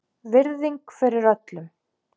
Virðing fyrir öllum.